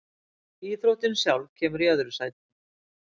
Íþróttin sjálf kemur í öðru sæti.